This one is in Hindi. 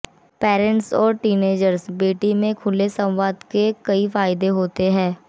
पैरेंट्स और टीनएजर बेटी में खुले संवाद के कई फायदे होते हैं